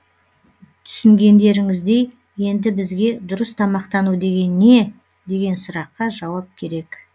түсінгендерініздей енді бізге дұрыс тамақтану деген не деген сұраққа жауап керек